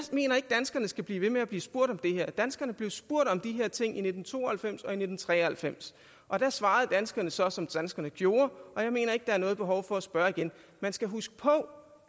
mener ikke danskerne skal blive ved med at blive spurgt om det her danskerne blev spurgt om de her ting i nitten to og halvfems og i nitten tre og halvfems og da svarede danskerne så som danskerne gjorde og jeg mener ikke der er noget behov for at spørge igen man skal huske på